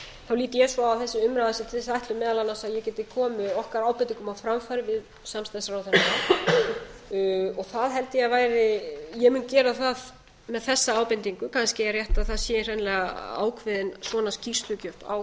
lít ég svo á að þessi umræða sé til þess ætluð meðal annars að ég geti komið okkar ábendingum á framfæri við samstarfsráðherrana það held ég að væri ég mun gera það með þessa ábendingu kannski er rétt að það sé hreinlega ákveðin svona skýrslugjöf á